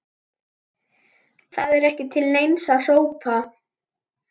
Það var ekki til neins að hrópa.